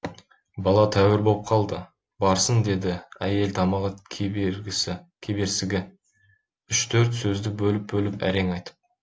бала тәуір боп қалды барсын деді әйел тамағы кеберсігі үш төрт сөзді бөліп бөліп әрең айтып